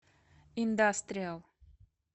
индастриал